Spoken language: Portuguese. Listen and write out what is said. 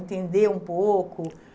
Entender um pouco.